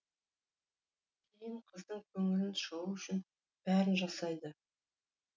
кейін қыздың көңілінен шығу үшін бәрін жасайды